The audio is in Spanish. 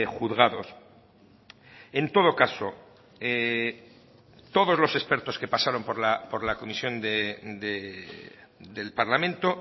juzgados en todo caso todos los expertos que pasaron por la comisión del parlamento